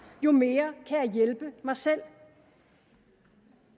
jo mere jeg hjælpe mig selv